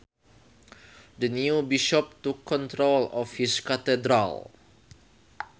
The new bishop took control of his cathedral